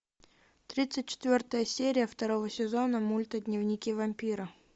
тридцать четвертая серия второго сезона мульта дневники вампира